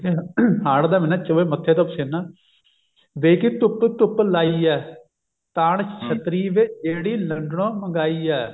ਠੀਕ ਹੈ ਹਾੜ ਦਾ ਮਹੀਨਾ ਚੋਵੇ ਮੱਥੇ ਤੋਂ ਪਸੀਨਾ ਵੇ ਕੀ ਧੁੱਪ ਧੁੱਪ ਲਾਈ ਐ ਤਾਣ ਛੱਤਰੀ ਵੇ ਜਿਹੜੀ ਲੰਡਨੋਂ ਮੰਗਾਈ ਐ